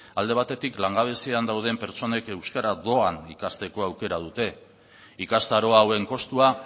alde batetik langabezian dauden pertsonek euskara doan ikasteko aukera dute ikastaro hauen kostua